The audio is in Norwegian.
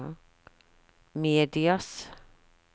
medias